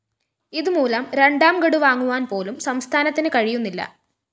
ഇതുമൂലം രണ്ടാംഗഡു വാങ്ങുവാന്‍പോലും സംസ്ഥാനത്തിന് കഴിയുന്നില്ല